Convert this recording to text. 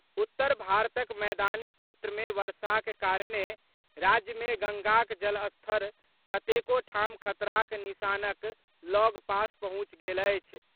उत्तर भारतक मैदानी क्षेत्र मे वर्षाक कारणे राज्य मे गंगाक जलस्तर कतेको ठाम खतराक निशानक लऽग पास पहुंचि गेल अछि।